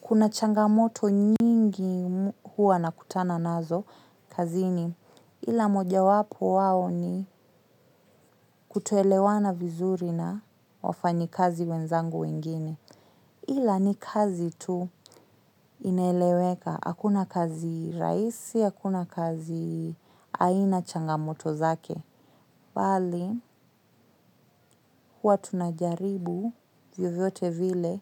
Kuna changamoto nyingi huwa nakutana nazo kazini ila mojawapo wao ni kutoelewana vizuri na wafanyikazi wenzangu wengine ila ni kazi tu inaeleweka hakuna kazi rahisi hakuna kazi haina changamoto zake. Bali, huwa tunajaribu vyovyote vile